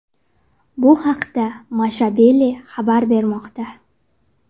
Bu haqda Mashable xabar bermoqda .